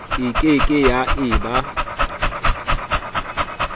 e ke ke ya eba